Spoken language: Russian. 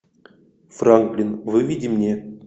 франклин выведи мне